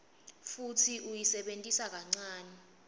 futsi uyisebentisa kancane